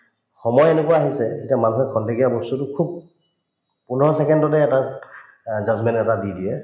সময় এনেকুৱা আহিছে এতিয়া মানুহৰ খন্তেকীয়া বস্তুতো খুব পোন্ধৰ second তে এটা অ judgement এটা দি দিয়ে